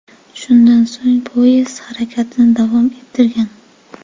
Shundan so‘ng poyezd harakatini davom ettirgan.